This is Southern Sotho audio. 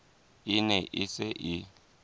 e ne e se e